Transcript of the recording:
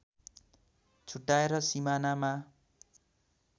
छुट्याएर सिमानामा